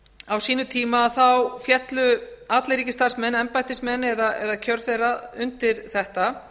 á sínum tíma féllu allir ríkisstarfsmenn embættismenn eða kjör þeirra undir þetta